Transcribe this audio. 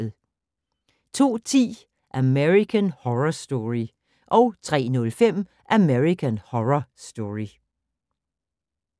02:10: American Horror Story 03:05: American Horror Story